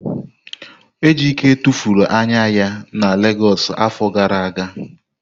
Ejike tụfuru anya ya na Legọs afọ gara aga.